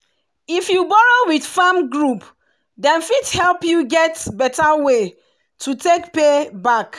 if you borrow with farm group dem fit help you get better way to take pay back.